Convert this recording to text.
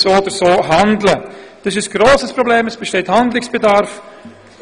Es besteht so oder so ein Handlungsbedarf.